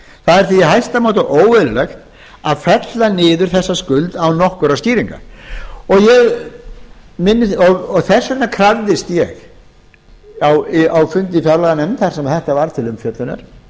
það er því í hæsta máta óeðlilegt að fella niður þessa skuld án nokkurra skýringa þess vegna krafðist ég á fundi í fjárlaganefnd þar sem þetta var til umfjöllunar